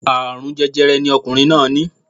Aláàrùn jẹjẹrẹ ni ọkùnrin náà ní